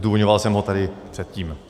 Zdůvodňoval jsem ho tady předtím.